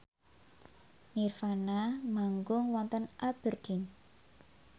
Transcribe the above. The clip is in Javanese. nirvana manggung wonten Aberdeen